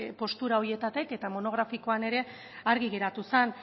postura horietatik eta monografikoan ere argi geratu zen